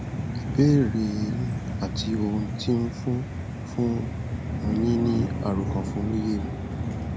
ìbéèrè e yín àti ohun tó ń fún fún un yín ní àròkànfún ló yé mi